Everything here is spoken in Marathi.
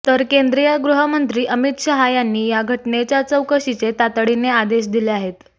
तर केंद्रीय गृहमंत्री अमित शहा यांनी या घटनेच्या चौकशीचे तातडीने आदेश दिले आहेत